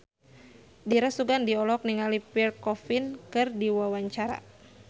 Dira Sugandi olohok ningali Pierre Coffin keur diwawancara